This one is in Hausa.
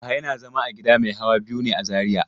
Yahaya na zama a gida mai hawa biyu ne a Zariya.